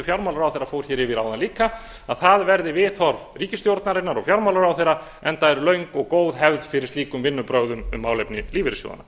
fjármálaráðherra fór yfir áðan líka að það verði viðhorf ríkisstjórnarinnar og fjármálaráðherra enda er löng og góð hefð fyrir slíkum vinnubrögðum um málefni lífeyrissjóðanna